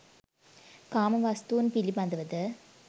කාම වස්තුන් පිළිබඳවද